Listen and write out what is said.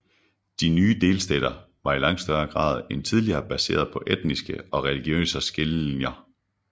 De nye delstater var i langt større grad end tidligere baseret på etniske og religiøse skillelinjer